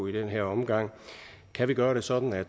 i den her omgang kan vi gøre det sådan at